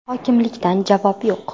Hokimlikdan javob yo‘q.